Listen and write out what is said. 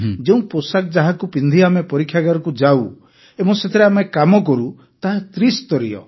ଯେଉଁ ପୋଷାକ ଯାହାକୁ ପିନ୍ଧି ଆମେ ପରୀକ୍ଷାଗାରକୁ ଯାଉ ଏବଂ ସେଥିରେ ଆମେ କାମ କରୁ ତାହା ତ୍ରିସ୍ତରୀୟ